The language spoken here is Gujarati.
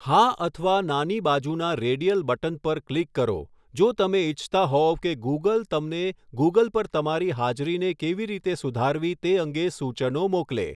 હા અથવા નાની બાજુના રેડિયલ બટન પર ક્લિક કરો જો તમે ઇચ્છતા હોવ કે ગુગલ તમને ગુગલ પર તમારી હાજરીને કેવી રીતે સુધારવી તે અંગે સૂચનો મોકલે.